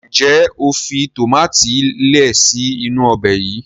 njé o fi tomati lẹẹ si inu Ọbẹ̀ yí?